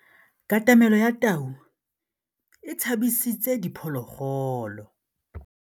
Katamêlô ya tau e tshabisitse diphôlôgôlô.